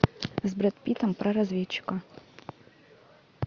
с брэд питтом про разведчика